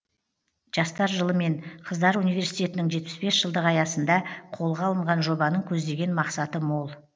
жастар жылы мен қыздар университетінің жетпіс бес жылдығы аясында қолға алынған жобаның көздеген мақсаты мол